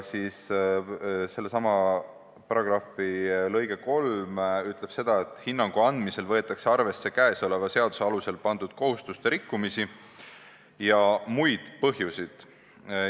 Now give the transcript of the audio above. Sellesama paragrahvi lõige 3 ütleb, et "hinnangu andmisel võetakse arvesse käesoleva seaduse alusel pandud kohustuste rikkumisi ja muid põhjusi".